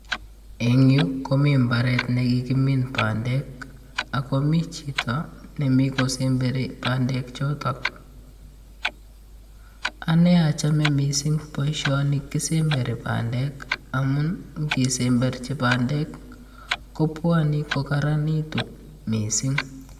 Eng yuu komii mbaret nekikimin bandek ak komii chito nemii kisemberi bandek choton, anee ochome mising boishoni kisemberi bandek amun, ngisemberchi bandek kobwone kokoronitu mising.